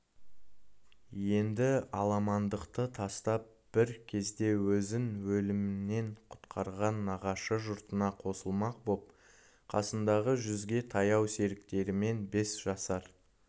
енді аламандықты тастап бір кезде өзін өлімнен құтқарған нағашы жұртына қосылмақ боп қасындағы жүзге таяу серіктерімен бес жасар